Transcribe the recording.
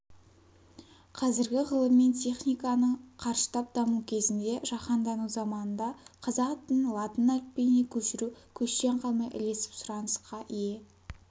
қазіргі ғылым мен техниканың қарыштап даму кезінде жаһандану заманында қазақ тілін латын әліпбиіне көшіру көштен қалмай ілесіп сұранысқа ие